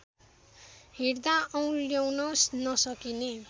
हेर्दा औँल्याउन नसकिने